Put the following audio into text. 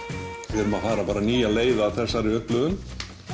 við erum að fara nýja leið að þessari upplifun